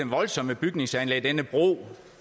voldsomme bygningsanlæg denne bro